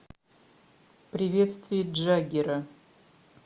приветствие джаггера